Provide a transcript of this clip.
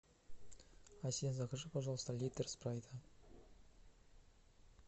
закажи пожалуйста литр спрайта